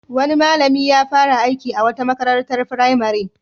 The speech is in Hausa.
Wani malami ya fara aiki a wata makarantar firamare.